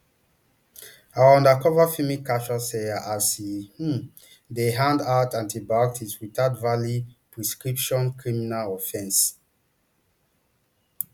our undercover filming capture sawyer as e um dey hand out antibiotics without valid prescription criminal offence